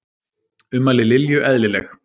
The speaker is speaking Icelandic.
Ummæli Lilju eðlileg